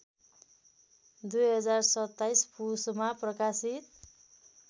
२०२७ पुसमा प्रकाशित